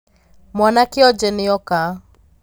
Mwana kionje nĩoka.